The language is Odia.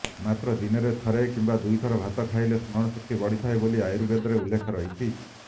ମାତ୍ର ଦିନରେ ଥରେ କିମ୍ବା ଦୁଇଥର ଭାତ ଖାଇଲେ ସ୍ମରଣ ଶକ୍ତି ବଢ଼ିଥାଏ ବୋଲି ଆୟୁର୍ବେଦରେ ଉଲ୍ଲେଖ ରହିଛି